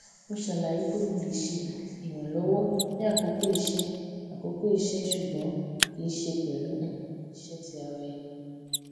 mo ṣàlàyé pé mo lè ṣe um ìrànlọwọ ní àkókò iṣẹ ní àkókò iṣẹ ṣùgbọn kì í ṣe pẹlú um iṣé ti ara ẹni